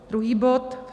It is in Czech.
Druhý bod.